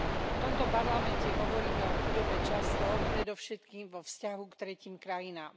V tomto parlamente hovoríme o chudobe často, predovšetkým vo vzťahu k tretím krajinám.